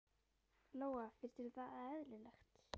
Lóa: Finnst þér það eðlilegt?